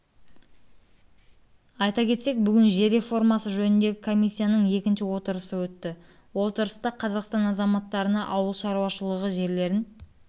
айта кетсек бүгін жер реформасы жөніндегі комиссияның екінші отырысы өтті отырыста қазақстан азаматтарына ауыл шаруашылығы жерлерін